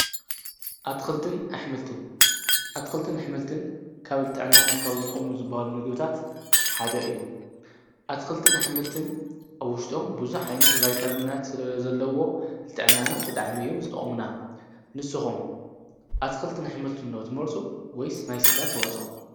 ኣልንኣልን ኣትክልትን ኣኅመልትን ካብ ልጥዕናና ካብ ዝጦሙ ዝበሃሉ ንግብታት ሓደ እዩ ኣትክልትን ኣኅመልትን ኣውሽጦም ብዙኅ ዓይነት ዋይታምናት ስለለ ዘለዎ ልጥዕናና ብጥዓመዮም ዝጠሙና ንስኹም ኣትክልትን ኣኅመልትን እና ተመርፁ ወይስ ናይ ሥጋ ተዋጾ።